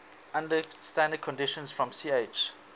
under standard conditions from ch